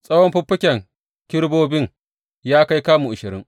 Tsawon fikafikan kerubobin ya kai kamu ashirin.